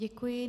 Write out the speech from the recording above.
Děkuji.